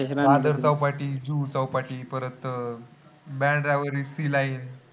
दादर चौपाटी, जुहू चौपाटी परत बांद्रा वरील सीलाई